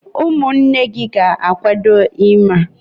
umunne gi ga-akwado ime a?